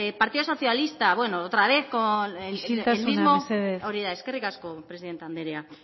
partido socialista bueno otra vez con el mismo isiltasuna mesedez hori da eskerrik asko presidente andrea